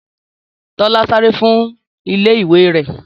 Tọ́lá sáré fún ilé ìwé rẹ̀